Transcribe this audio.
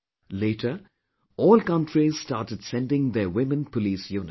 Later, all countries started sending their women police units